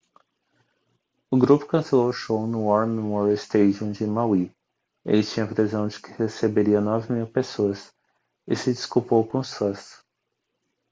o grupo cancelou o show no war memorial stadium de maui ele tinha previsão de que receberia 9.000 pessoas e se desculpou com os fãs